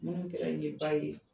Minnu kɛra n ye Baye